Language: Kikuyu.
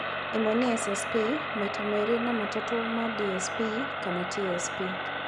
ĩmwe nĩ SSP, maita merĩ na matatũ ma DSP kana TSP